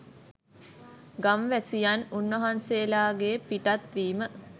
ගම්වැසියන් උන්වහන්සේලාගේ පිටත් වීම